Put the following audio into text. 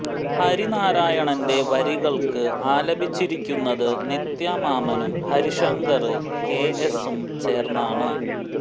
ഹരിനാരായണന്റെ വരികള് ആലപിച്ചിരിക്കുന്നത് നിത്യ മാമ്മനും ഹരിശങ്കര് കെ എസും ചേര്ന്നാണ്